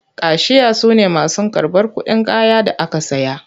Kashiya su ne masu karɓar kuɗin kayan da aka saya.